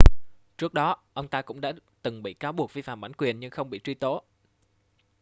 trước đó ông ta cũng đã từng bị cáo buộc vi phạm bản quyền nhưng không bị truy tố